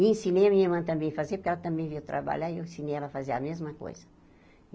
E ensinei a minha irmã também a fazer, porque ela também veio trabalhar, e eu ensinei ela a fazer a mesma coisa.